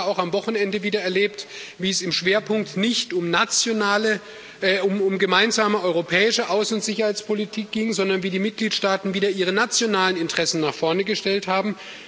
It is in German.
Aber wir haben ja auch am Wochenende wieder erlebt, wie es im Schwerpunkt nicht um gemeinsame europäische Außen und Sicherheitspolitik ging, sondern wie die Mitgliedstaaten wieder ihre nationalen Interessen nach vorne gestellt haben.